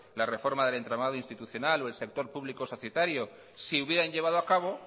la reforma del entramado institucional o el sector público societario se hubieran llevado a cabo